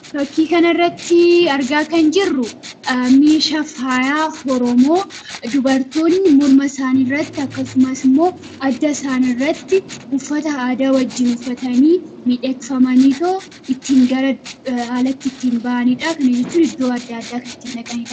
Fakkii kanarratti argaa kan jirru meeshaa faayaa oromoo dubartoonni morma isaaniirratti akkasumas adda isaanii irratti uffata aadaa wajjin uffatanii miidhagfamanii ittiin alaatti ittiin bahanidha. Kana jechuun iddoo adda addaa kan ittiin dhaqanidha.